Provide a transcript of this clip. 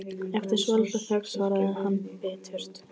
Eftir svolitla þögn svarar hann biturt